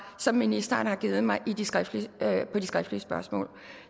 som ministeren har givet mig på de skriftlige skriftlige spørgsmål